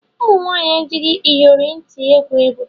Ụmụnwanyị ejighi Ịyọrị nti egwu egwu